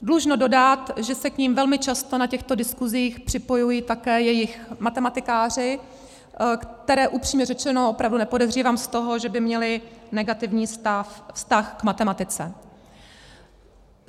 Dlužno dodat, že se k nim velmi často na těchto diskusích připojují také jejich matematikáři, které upřímně řečeno opravdu nepodezřívám z toho, že by měli negativní vztah k matematice.